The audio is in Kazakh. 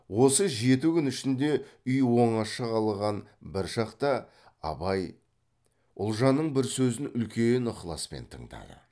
осы жеті күн ішінде үй оңаша қалған бір шақта абай ұлжанның бір сөзін үлкен ықласпен тыңдады